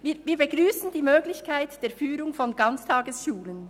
Wir begrüssen die Möglichkeit der Führung von Ganztagesschulen.